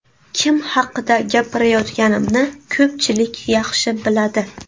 Kim haqida gapirayotganimni ko‘pchilik yaxshi biladi.